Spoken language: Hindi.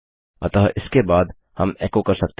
अतः इसके बाद हम एको कर सकते हैं